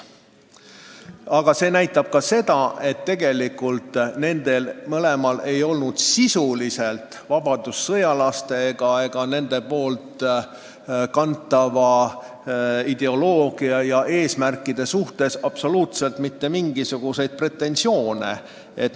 Aga see näitab ka seda, et tegelikult polnud neil kummalgi vabadussõjalaste ideoloogia ja eesmärkide vastu absoluutselt mitte mingisuguseid pretensioone.